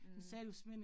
Mh